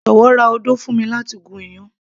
jọ̀wọ́ ra odó fún mi láti gún iyán